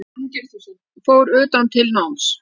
Fór utan til náms